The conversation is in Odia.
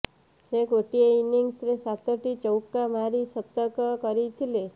ସେ ଗୋଟିଏ ଇନିଂସରେ ସାତଟି ଚୌକା ମାରି ଶତକ କରିଥିଲେ